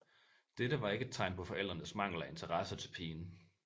Dette var ikke et tegn på forældrenes mangel af interesse til pigen